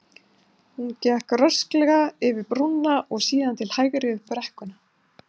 Hún gekk rösklega yfir brúna og síðan til hægri upp brekkuna.